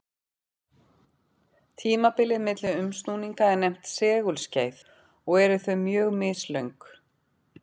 Tímabilið milli umsnúninga er nefnt segulskeið og eru þau mjög mislöng.